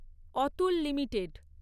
Atul limited